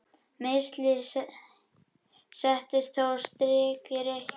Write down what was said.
Meiðsli settu þó stór strik í reikninginn.